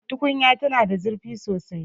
Tukunyar tana da zurfi sosai